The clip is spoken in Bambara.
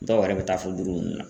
Dɔw yɛrɛ bɛ taa fɔ duuru nunnu na.